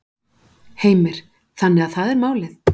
Heimir: Þannig að það er málið?